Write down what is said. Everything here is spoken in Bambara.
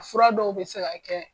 Fura dɔw bɛ se ka kɛ